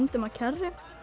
á kerru